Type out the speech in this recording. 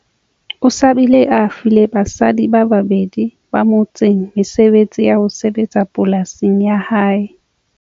O se a bile a file basadi ba babedi ba motseng mesebetsi ya ho sebetsa polasing ya hae.